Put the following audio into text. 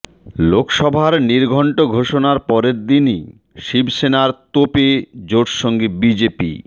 লোকসভার নির্ঘণ্ট ঘোষণার পরের দিনই শিবসেনার তোপে জোটসঙ্গী বিজেপি